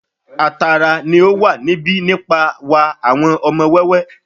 A tara ni o wa níbi nipa wa awọn ọmọ wẹwẹ